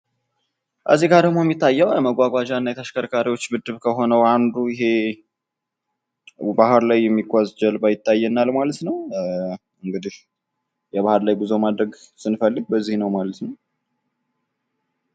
የመንገድ ትራፊክ ደንቦች ለሁሉም ተጠቃሚዎች ደህንነት አስፈላጊ ናቸው። የተሽከርካሪ ጥገና የአገልግሎት እድሜያቸውን ያራዝማል።